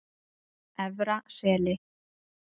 Efra Seli